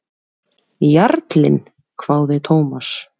Jarlinn? hváði Thomas.